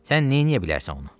Sən neyləyə bilərsən ona?